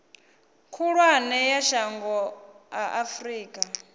khulwane ya shango a afurika